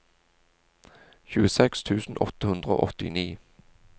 tjueseks tusen åtte hundre og åttini